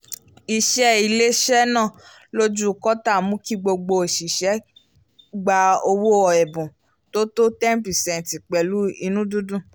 ìṣe ilé-iṣẹ́ náà lójú kóòtà mú kí gbogbo òṣìṣẹ́ gba owó ẹ̀bùn tó tó ten pecent pẹ̀lú inú-dídùn